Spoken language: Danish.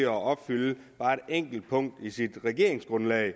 opfylde et enkelt punkt i sit regeringsgrundlag i